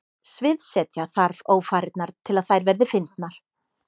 Sviðsetja þarf ófarirnar til að þær verði fyndnar.